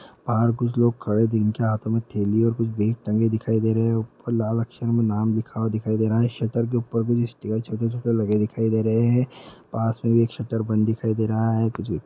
बाहर कुछ लोग खड़े हुए दिनके हाथों में थैलियां और कुछ बैग टंगे दिखाई दे रहे हैं। लाल अक्षर में नाम लिखा हुआ दिखाई दे रहा है। शटर के ऊपर भी दिखाई दे रहे हैं। पास में एक शटर बंद दिखाई दे रहा है। कुछ --